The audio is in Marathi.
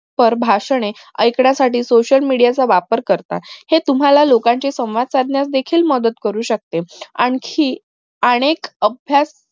वर भाषणे ऐकण्यासाठी social media चा वापर करतात हे तुम्हाला लोकांचे संवाद साधण्यास देखील मदत करू शकते आणखी अनेक अभ्यास